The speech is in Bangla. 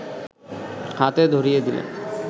হাতে ধরিয়ে দিলেন